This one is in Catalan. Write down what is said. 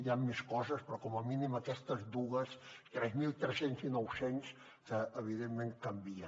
hi han més coses però com a mínim aquestes dues tres mil tres cents i nou cents que evidentment canvia